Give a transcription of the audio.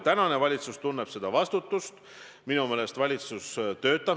Sellele küsimusele ei saa mina küll alati jaatavalt vastata.